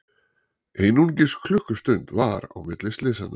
Einungis klukkustund var á milli slysanna